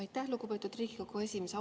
Aitäh, lugupeetud Riigikogu esimees!